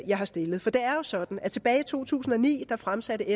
jeg har stillet det er jo sådan at tilbage i to tusind og ni fremsatte